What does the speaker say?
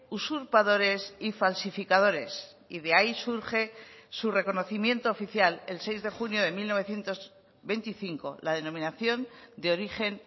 usurpadores y falsificadores y de ahí surge su reconocimiento oficial el seis de junio de mil novecientos veinticinco la denominación de origen